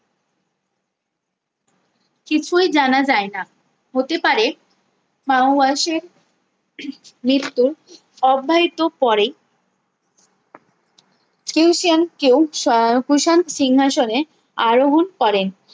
কিছুই জানা যায় না হতে পারে মাওওয়াশে মিত্র অব্যাহিত পরে কিউ সিঙ্ক কেও শাহহসান সিংহাসনে আরোহন করেন